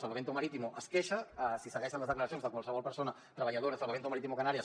salvamento marítimo es queixa si segueixen les declaracions de qualsevol persona treballadora de salvamento marítimo canàries